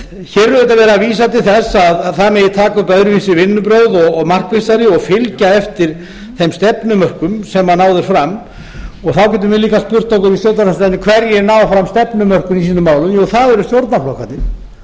verið að vísa til þess að megi taka upp öðruvísi vinnubrögð og markvissari og fylgja eftir þeim stefnumörkun sem náðust fram þá getum við líka spurt okkur í stjórnarandstöðunni hverjir ná fram stefnumörkun í sínum málum jú það er eru stjórnarflokkarnir